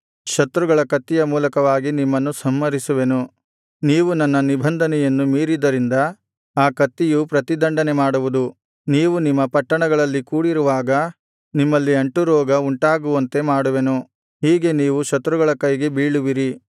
ಶತ್ರುಗಳ ಕತ್ತಿಯ ಮೂಲಕವಾಗಿ ನಿಮ್ಮನ್ನು ಸಂಹರಿಸುವೆನು ನೀವು ನನ್ನ ನಿಬಂಧನೆಯನ್ನು ಮೀರಿದ್ದರಿಂದ ಆ ಕತ್ತಿಯು ಪ್ರತಿದಂಡನೆಮಾಡುವುದು ನೀವು ನಿಮ್ಮ ಪಟ್ಟಣಗಳಲ್ಲಿ ಕೂಡಿರುವಾಗ ನಿಮ್ಮಲ್ಲಿ ಅಂಟುರೋಗ ಉಂಟಾಗುವಂತೆ ಮಾಡುವೆನು ಹೀಗೆ ನೀವು ಶತ್ರುಗಳ ಕೈಗೆ ಬೀಳುವಿರಿ